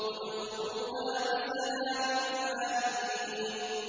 ادْخُلُوهَا بِسَلَامٍ آمِنِينَ